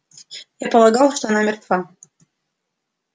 я полагал что она мертва